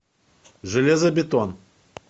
железобетон